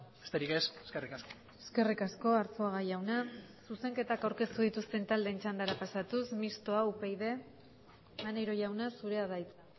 besterik ez eskerrik asko eskerrik asko arzuaga jauna zuzenketak aurkeztu dituzten taldeen txandara pasatuz mistoa upyd maneiro jauna zurea da hitza